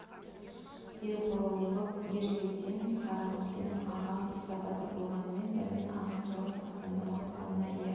ер болып ер жетесің қарағым сенің ағаң иса батыр болған дәрмен ағаның жалғыз асанды мақтағанына иә